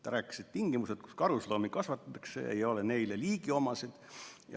Ta rääkis, et tingimused, kus karusloomi kasvatatakse, ei ole neile liigiomased.